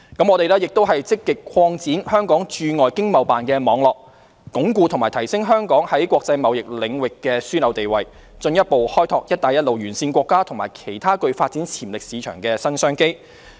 我們亦積極擴展香港駐海外經貿辦事處的網絡，鞏固及提升香港在國際貿易領域的樞紐地位，進一步開拓"一帶一路"沿線國家和其他具發展潛力市場的新商機。